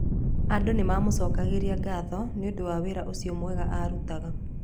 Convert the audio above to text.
Andũ nĩ maamũcokagĩria ngatho nĩ ũndũ wa wĩra ũcio mwega aarutaga.